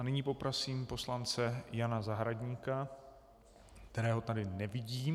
A nyní poprosím poslance Jana Zahradníka, kterého tady nevidím.